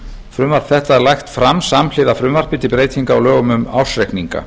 frumvarp þetta er lagt fram samhliða frumvarpi til breytinga á lögum um ársreikninga